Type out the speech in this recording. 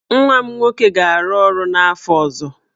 Nwa m nwoke ga-arụ ọrụ n'afọ ọzọ.